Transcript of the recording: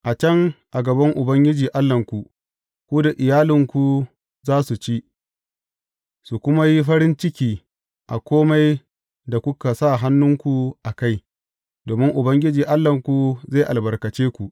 A can, a gaban Ubangiji Allahnku, ku da iyalanku za su ci, su kuma yi farin ciki a kome da kuka sa hannunku a kai, domin Ubangiji Allahnku zai albarkace ku.